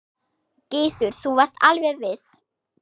Gissur: Þú varst alveg viss?